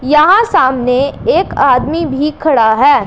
यहां सामने एक आदमी भी खड़ा हैं।